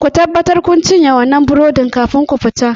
Ku tabbatar kun cinye wannan burodin kafin ku fita!